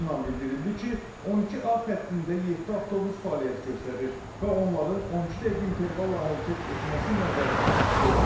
Qurumdan bildirildi ki, 12A xəttində yeddi avtobus fəaliyyət göstərir və onların 12 dəqiqə intervalla hərəkət etməsi nəzərdə tutulur.